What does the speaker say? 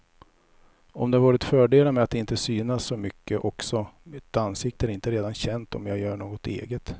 Och det har varit fördelar med att inte synas så mycket också, mitt ansikte är inte redan känt om jag gör något eget.